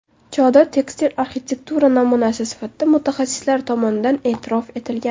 Chodir tekstil arxitektura namunasi sifatida mutaxassislar tomonidan e’tirof etilgan.